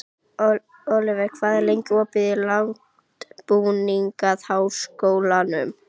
Oliver, hvað er lengi opið í Landbúnaðarháskólanum?